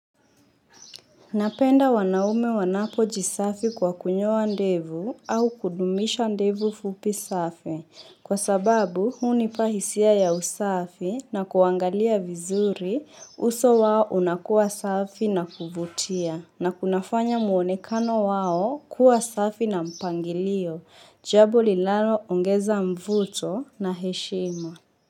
Napenda wanaume wanapo jisafi kwa kunyoa ndevu au kudumisha ndevu fupi safi kwa sababu hunipa hisia ya usafi na kuangalia vizuri uso wao unakuwa safi na kuvutia na kunafanya muonekano wao kuwa safi na mpangilio jambo linalo ongeza mvuto na heshima.